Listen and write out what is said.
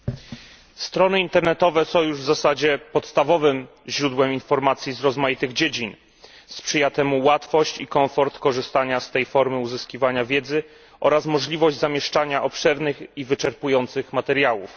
Pani Przewodnicząca! Strony internetowe są już w zasadzie podstawowym źródłem informacji z rozmaitych dziedzin. Sprzyja temu łatwość i komfort korzystania z tej formy uzyskiwania wiedzy oraz możliwość zamieszczania obszernych i wyczerpujących materiałów.